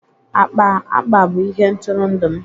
Akpa akpa bụ ihe ntụrụndụ m